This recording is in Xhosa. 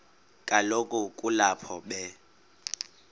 kaloku kulapho be